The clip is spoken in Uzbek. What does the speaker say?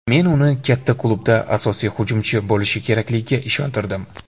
Men uni katta klubda asosiy hujumchi bo‘lishi kerakligiga ishontirdim.